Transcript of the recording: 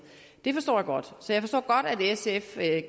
det forstår jeg godt så jeg forstår godt at sf